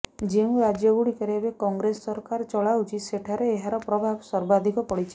ଯେଉଁ ରାଜ୍ୟଗୁଡ଼ିକରେ ଏବେ କଂଗ୍ରେସ ସରକାର ଚଳାଉଛି ସେଠାରେ ଏହାର ପ୍ରଭାବ ସର୍ବାଧିକ ପଡିଛି